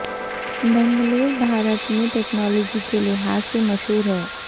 بنگلور بھارت میں ٹیکنالوجی کے لحاظ سے مشہور ہے